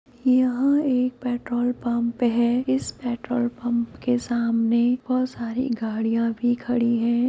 यह एक petrol pump है इस पेट्रोल पम्प के सामने बहुत सारी गाड़ियां भी खड़ीं हैं।